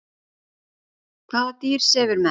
Hvaða dýr sefur mest?